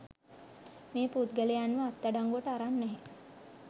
මේ පුද්ගලයන්ව අත්අඩංගුවට අරන් නැහැ